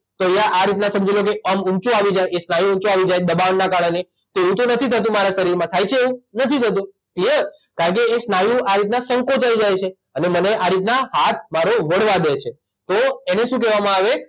તો અહીંયા આ રીતના સમજી લો કે અંગ ઉંચું આવી જાય એ સ્નાયુ ઉંચો આવી જાય દબાણના કારણે તો એવું તો નથી થતું મારા શરીરમાં થાચ છે એવું નથી થતું ક્લીઅર કારણકે એ સ્નાયુ આ રીતના સંકોચાઇ જાય છે અને મને આ રીતના હાથ મારો વળવા દે છે તો એને શું કહેવામાં આવે